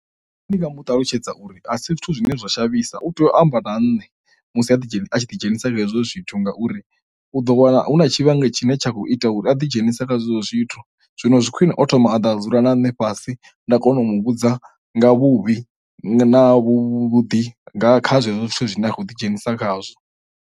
Ndi nga mu ṱalutshedza uri a si zwithu zwine zwa navhisa u tea u amba na ṋne musi a ḓi dzhenisa a tshi ḓi dzhenisa kha hezwo zwithu, ngauri u ḓo wana hu na tshifhinga tshine tsha khou ita uri a ḓi dzhenisa khazwo zwithu zwino zwi khwine o thoma a ḓa dzula na nṋe fhasi nda kona u mu vhudza nga vhuvhi na vhuḓi nga kha zwezwo zwithu zwine a khou ḓi dzhenisa khazwo.